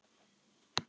Taktu við.